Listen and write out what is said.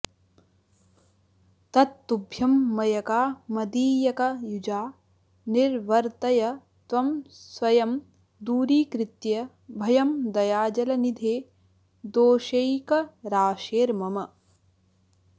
तत्तुभ्यं मयका मदीयकयुजा निर्वर्तय त्वं स्वयं दूरीकृत्य भयं दयाजलनिधे दोषैकराशेर्मम